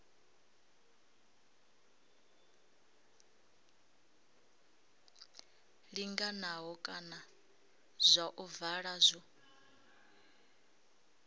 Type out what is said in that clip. linganaho kana zwa ovala zwo